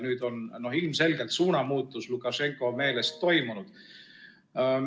Nüüd on aga ilmselgelt suunamuutus Lukašenka meelest toimunud.